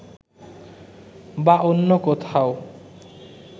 বা অন্য কোথাও